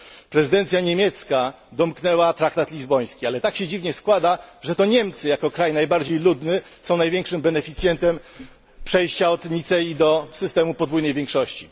Prezydencja niemiecka domknęła traktat lizboński, ale tak się dziwnie składa, że to Niemcy jako kraj najbardziej ludny są największym beneficjentem przejścia od Nicei do systemu podwójnej większości.